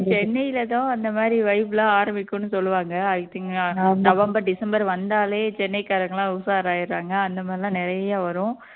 சென்னையிலதான் அந்த மாதிரி vibe எல்லாம் ஆரம்பிக்கும் சொல்லுவாங்க i think நவம்பர் டிசம்பர் வந்தாலே சென்னைக்காரங்க எல்லாம் உஷார் ஆயிடுறாங்க அந்த மாதிரி எல்லாம் நிறைய வரும்